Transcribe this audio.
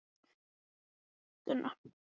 Skjót í svörum og örugg með sig.